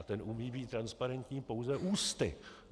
A ten umí být transparentní pouze ústy.